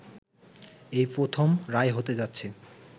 এই প্রথম রায় হতে যাচ্ছে